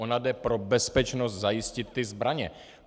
Ona jde pro bezpečnost zajistit ty zbraně.